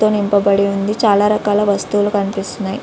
తో నింపబడి ఉంది . చాలా రకాల వస్తువులు కనిపిస్తున్నాయి.